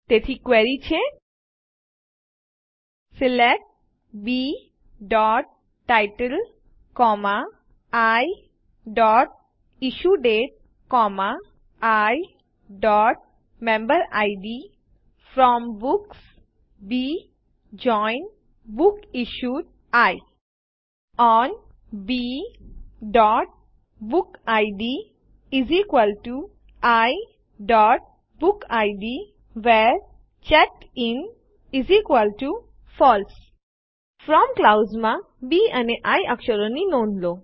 તેથી ક્વેરી છે સિલેક્ટ bટાઇટલ iઇશ્યુડેટ iમેમ્બેરિડ from books B join books issued I on bબુકિડ iબુકિડ વ્હેરે ચેકડિન ફળસે ફ્રોમ ક્લાઉઝમાં બી અને આઇ અક્ષરો ની નોંધ લો